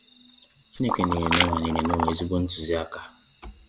Chineke nyere Noah nyere Noah ezigbo ntụzi aka.